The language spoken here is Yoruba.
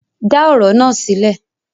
Dá ọ̀rọ̀ na sílẹ̀!